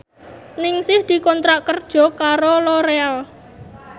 Ningsih dikontrak kerja karo Loreal